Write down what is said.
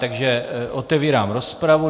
Takže otevírám rozpravu.